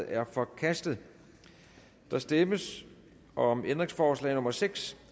er forkastet der stemmes om ændringsforslag nummer seks